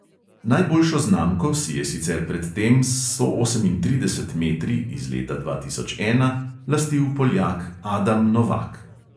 Najboljšo znamko si je sicer pred tem s sto osemintrideset metri iz leta dva tisoč ena lastil poljak adam novak.